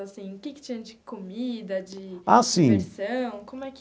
Assim o que que tinha de comida, de. Ah, sim. Diversão? Como é que.